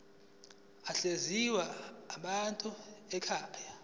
ahlinzekwa ngamanzi ekhaya